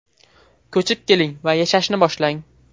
Ko‘chib keling va yashashni boshlang!